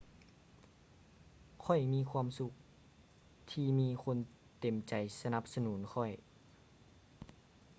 ຂ້ອຍມີຄວາມສຸກທີ່ມີຄົນເຕັມໃຈສະໜັບສະໜູນຂ້ອຍ